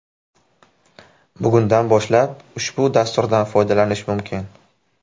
Bugundan boshlab ushbu dasturdan foydalanish mumkin.